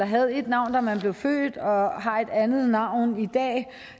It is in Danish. havde ét navn da man blev født og har et andet navn i dag